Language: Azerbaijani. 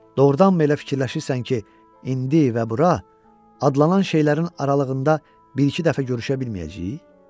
Doğrudanmı elə fikirləşirsən ki, indi və bura adlanan şeylərin aralığında bir-iki dəfə görüşə bilməyəcəyik?